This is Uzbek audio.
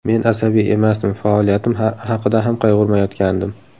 Men asabiy emasdim, faoliyatim haqida ham qayg‘urmayotgandim.